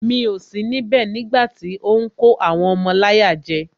Mi ò sí níbẹ̀ nígbàtí ó ń kó àwọn ọmọ láyà jẹ